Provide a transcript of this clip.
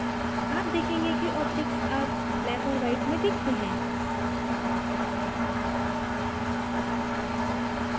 आप देखेंगे कि objects अब black और white में दिखते हैं